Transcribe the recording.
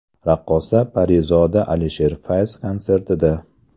Raqqosa Parizoda Alisher Fayz konsertida.